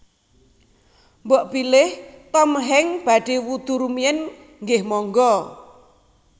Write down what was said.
Mbok bilih Tom Hanks badhe wudhu rumiyin nggeh monggo